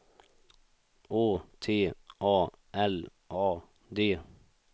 Å T A L A D